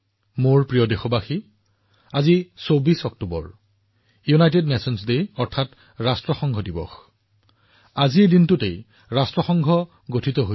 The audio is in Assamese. মোৰ মৰমৰ দেশবাসীসকল আজি ২৪ অক্টোবৰত ৰাষ্ট্ৰসংঘ দিৱস হিচাপে উদযাপন কৰা হয় অৰ্থাৎ এই দিনটোতে ৰাষ্ট্ৰসংঘ গঠন হৈছিল